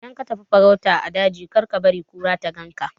Idan ka tafi farauta a daji kar kabari kura ta ganka